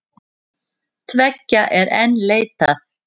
Tveggja er enn leitað.